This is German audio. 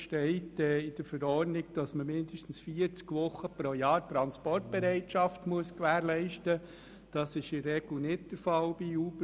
Gemäss Verordnung muss man pro Jahr mindestens 40 Wochen Transportbereitschaft gewährleisten, was bei Uber-Fahrern in der Regel nicht der Fall ist.